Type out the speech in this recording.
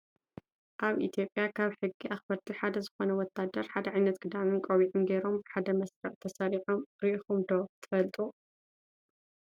ኣብ ኢትዮጵያ ካብ ሕጊ ኣክበርቲ ሓደ ዝኮነ ወታደር ሓደ ዓይነት ክዳንን ቆቢዒን ገይሮም ብሓደ መስርዕ ተሰሪዖም ሪኢኩም ዶ ትፈልጡ ?